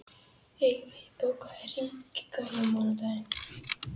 Eyfi, bókaðu hring í golf á mánudaginn.